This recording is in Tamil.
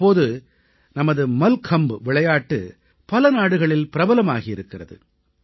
இப்போது நமது மல்கம்ப் விளையாட்டு பல நாடுகளில் பிரபலமாகி வருகிறது